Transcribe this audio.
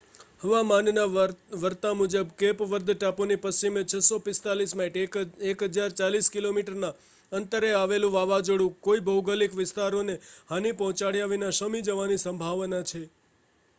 હવામાનના વર્તા મુજબ કેપ વર્દ ટાપુની પશ્ચિમે 645 માઇલ 1,040 કિમીના અંતરે આવેલું વાવાઝોડું કોઈ ભૌગોલિક વિસ્તારોને હાનિ પહોંચાડ્યા વિના શમી જવાની સંભાવના છે